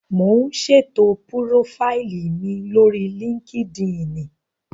Mò ún ṣètò púrófáìlì mi lórí líkídíìnì